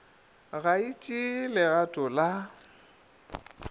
ga e tšee legato la